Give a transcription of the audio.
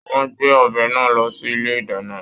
Wọn gbé ọbẹ náà lọ sí ilé ìdáná.